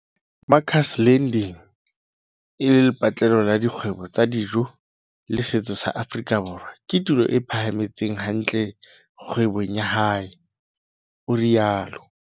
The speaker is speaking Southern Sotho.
Makers Landing, e leng lepatlelo la dikgwebo tsa dijo le setso sa Afrika Borwa, ke tulo e phethahetseng hantle kgwebong ya hae, o rialo.